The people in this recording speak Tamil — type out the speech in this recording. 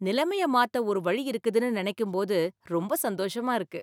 நிலைமைய மாத்த ஒரு வழி இருக்குதுனு நினைக்கும்போது ரொம்ப சந்தோஷமா இருக்கு